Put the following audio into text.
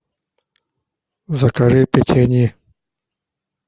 закажи печенье